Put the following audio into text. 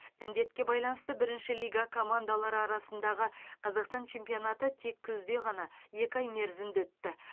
індетке байланысты бірінші лига командалары арасындағы қазақстан чемпионаты тек күзде ғана екі ай мерзімде өтті